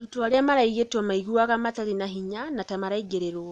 arutwo aria maraũgitwo maigũaga matire na hinya na ta maraingĩrĩrwo.